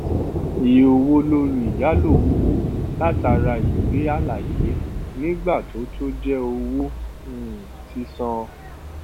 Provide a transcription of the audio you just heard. iye owó lórí ìyálò owó látara ìwé àlàyé nígbà tó tó jẹ owó um sísan